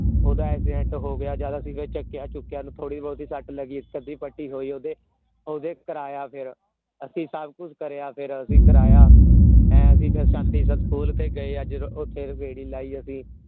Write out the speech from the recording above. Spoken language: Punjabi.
ਓਦਾਂ accident ਹੋ ਗਯਾ ਜ਼ਯਾਦਾ serious ਚਕਿਆ ਚੁਕਿਆ ਓਹਨੂੰ ਥੋੜੀ ਬਹੁਤੀ ਸੱਤ ਲਗੀ ਇਕ ਅੱਧੀ ਪੱਟੀ ਹੋਈ ਓਦੇ ਕਰਾਯਾ ਫੇਰ ਅਸੀਂ ਸਭ ਕੁਛ ਕਰੇਇ ਫੇਰ ਅਸੀਂ ਕਰਾਇਆ ਹੈਂ ਅਸੀਂ ਫੇਰ ਸੈਂਟੀ ਸਕੂਲ ਤੇ ਗਏ ਫੇਰ ਓਥੇ ਵੀ ਗੇੜੀ ਲੈ ਅਸੀਂ